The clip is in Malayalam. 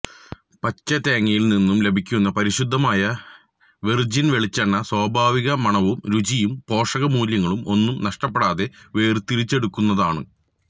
പച്ച തേങ്ങയില് നിന്നും ലഭിക്കുന്ന പരിശുദ്ധമായ വെര്ജിന് വെളിച്ചെണ്ണ സ്വാഭാവിക മണവും രുചിയും പോഷക മൂല്യങ്ങളും ഒന്നും നഷ്ടപ്പെടാതെ വേര്തിരിച്ചെടുക്കുന്നതാണ്